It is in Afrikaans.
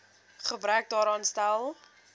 gebrek daaraan stel